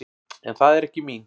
En það er ekki mín.